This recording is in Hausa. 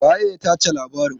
Waye ya tace labarin?